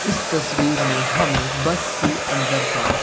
इस तस्वीर में हमें बस के अंदर का--